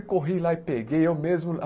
E corri lá e peguei eu mesmo.